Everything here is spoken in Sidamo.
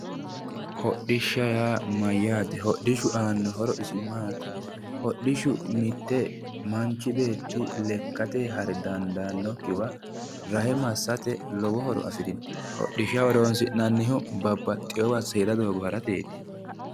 Hodhishsha yaa mayyaate? hodhishshu aanno horo isi maati? hodhishshu mitte manchi beetti lekkate hare dandaannokkiwa rahe massate lowo horo afirino. hodhishsha horonsi'nannihu babbaxewowa seeda doogo harateti